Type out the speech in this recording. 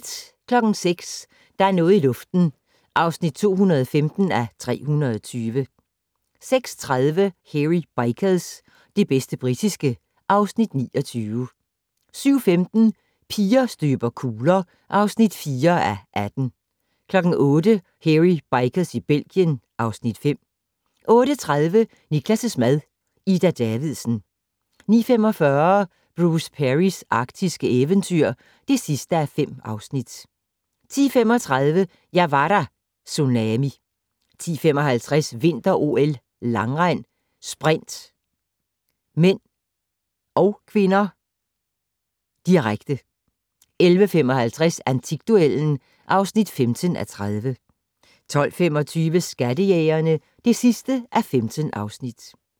06:00: Der er noget i luften (215:320) 06:30: Hairy Bikers - det bedste britiske (Afs. 29) 07:15: Piger støber kugler (4:18) 08:00: Hairy Bikers i Belgien (Afs. 5) 08:30: Niklas' mad - Ida Davidsen 09:45: Bruce Perrys arktiske eventyr (5:5) 10:35: Jeg var der - Tsunami 10:55: Vinter-OL: Langrend - sprint (m/k), direkte 11:55: Antikduellen (15:30) 12:25: Skattejægerne (15:15)